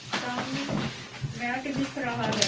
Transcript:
सामने मैट दिख रहा है।